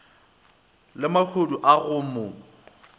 le mahodu a go mo